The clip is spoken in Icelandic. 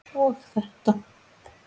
og þetta